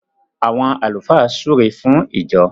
àwon àlùfáà súré fún ìjọ.